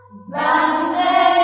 VandeMataram